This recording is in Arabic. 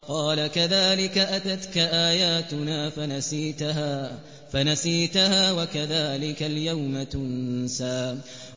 قَالَ كَذَٰلِكَ أَتَتْكَ آيَاتُنَا فَنَسِيتَهَا ۖ وَكَذَٰلِكَ الْيَوْمَ تُنسَىٰ